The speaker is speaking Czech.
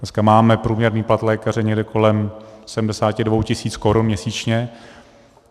Dneska máme průměrný plat lékaře někde kolem 72 tis. korun měsíčně.